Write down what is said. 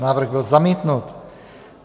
Návrh byl zamítnut.